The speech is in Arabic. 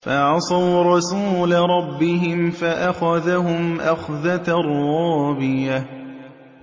فَعَصَوْا رَسُولَ رَبِّهِمْ فَأَخَذَهُمْ أَخْذَةً رَّابِيَةً